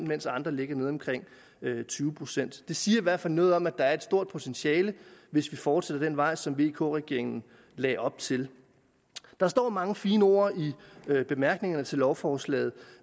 mens andre ligger nede omkring tyve procent det siger i hvert fald noget om at der er et stort potentiale hvis vi fortsætter den vej som vk regeringen lagde op til der står mange fine ord i bemærkningerne til lovforslaget